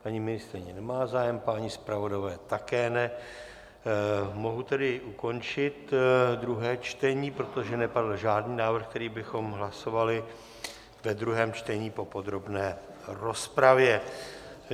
Paní ministryně nemá zájem, páni zpravodajové také ne, mohu tedy ukončit druhé čtení, protože nepadl žádný návrh, který bychom hlasovali ve druhém čtení po podrobné rozpravě.